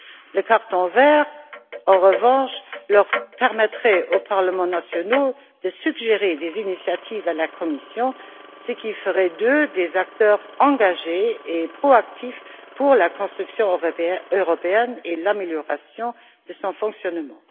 Le carton vert, en revanche, permettrait aux parlements nationaux de suggérer des initiatives à la Commission, ce qui ferait d'eux des acteurs engagés et proactifs de la construction européenne et l'amélioration de son fonctionnement.